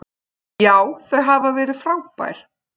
Já, þau hafa verið frábær.